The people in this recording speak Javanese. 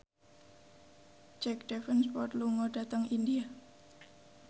Jack Davenport lunga dhateng India